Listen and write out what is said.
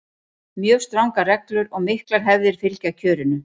mjög strangar reglur og miklar hefðir fylgja kjörinu